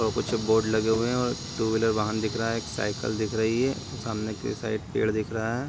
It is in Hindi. और कुछ बोर्ड लगे हुए हैं और टू व्हीलर वाहन दिख रहा है एक साइकिल दिख रही है सामने की साइड पेड़ दिख रहा है।